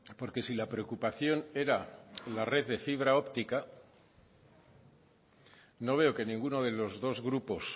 porque si la preocupación era la red de fibra óptica no veo que ninguno de los dos grupos